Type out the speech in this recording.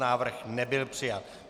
Návrh nebyl přijat.